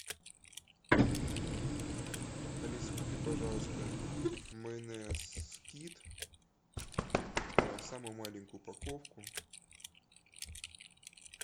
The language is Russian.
алиса купи пожалуйста майонез скит самую маленькую упаковку